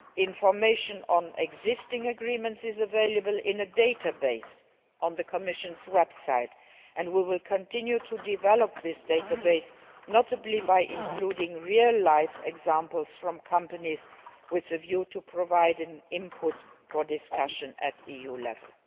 Information on existing agreements is available in a database on the Commission's website and we will continue developing this database, notably by including real life examples from companies with a view to providing input for discussion at EU level.